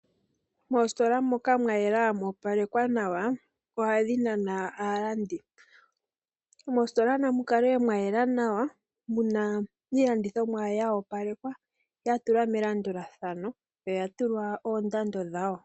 Moositola moka mwa yela mwa opalekwa nawa ohadhi nana aalandi. Mositola namu kale mwa yela nawa, muna iilandithomwa ya opalekwa ya tulwa melandulathano noya tulwa oondando dhayo.